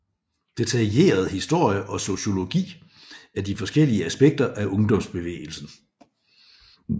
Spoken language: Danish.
Detaljeret historie og sociologi af de forskellige aspekter af ungdomsbevægelsen